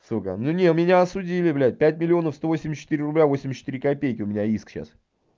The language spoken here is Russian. сука ну не меня осудили блядь пять миллионов сто восемьдесят четыре рубля восемьдесят четыре копейки у меня иск сейчас